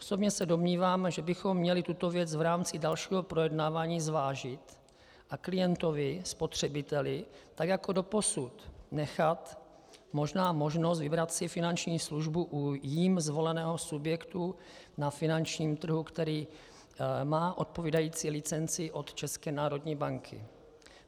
Osobně se domnívám, že bychom měli tuto věc v rámci dalšího projednávání zvážit a klientovi, spotřebiteli, tak jako doposud nechat možná možnost vybrat si finanční službu u jím zvoleného subjektu na finančním trhu, který má odpovídající licenci od České národní banky.